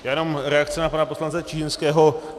Já jenom reakce na pana poslance Čižinského.